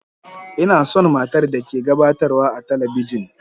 Ina son matar da ke gabatarwa a talabijin.